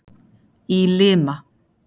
Í Lima